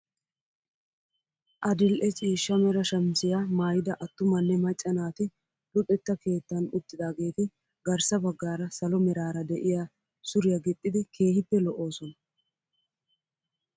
Adil'e ciishsha mera shamisiyaa mayida attumanne macca naati luxetta keettan uttidageeti garssa baggaara salo meraara de'iyaa suriyaa gixxidi keehippe lo"oosona.